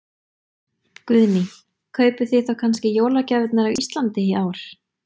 Guðný: Kaupið þið þá kannski jólagjafirnar á Íslandi í ár?